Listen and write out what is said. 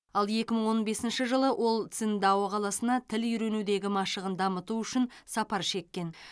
ал екі мың он бесінші жылы ол циндао қаласына тіл үйренудегі машығын дамыту үшін сапар шеккен